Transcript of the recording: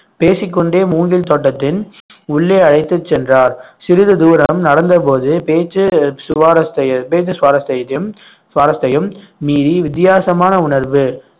பேசிக்கொண்டே மூங்கில் தோட்டத்தின் உள்ளே அழைத்துச் சென்றார் சிறிது தூரம் நடந்தபோது செய்தியும் சுவாரஸ்த்தையும் மீறி வித்தியாசமான உணர்வு